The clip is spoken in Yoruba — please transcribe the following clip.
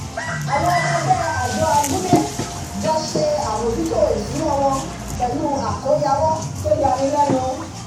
àwọn ọmọ ẹgbẹ́ àjọ abúlé jọ ṣe àmójútó ìṣúná wọn pẹ̀lú àkóyawọ́ tó yani lẹ́nu